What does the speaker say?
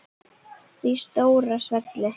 Því stóra svelli.